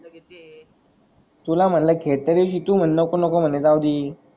तुला म्हणला खेटरे कि तु मन्हे नको नको मन्हे जाऊदी.